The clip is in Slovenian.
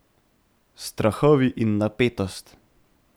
Strahovi in napetost.